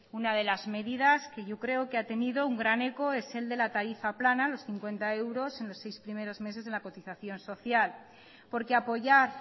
una de las medidas que yo creo que ha tenido un gran eco es el de la tarifa plana los cincuenta euros en los seis primeros meses de la cotización social porque apoyar